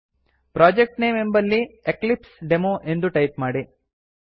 project name ಎಂಬಲ್ಲಿ Eclipse demo ಎಂದು type ಮಾಡಿ